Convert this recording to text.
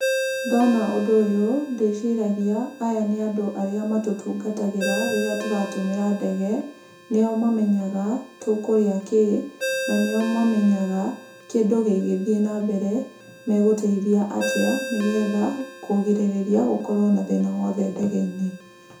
Ndona ũndũ ũyũ ndĩciragia aya nĩ andũ arĩa matũtungatagĩra rĩrĩa tũratũmĩra ndege. Nĩo mamenyaga tũkũrĩa kĩĩ, na nĩo mamenyaga kĩndũ gĩgĩthiĩ na mbere megũteithia atĩa, nĩ getha kũrigĩrĩria gũkorwo na thĩna wothe ndege-inĩ.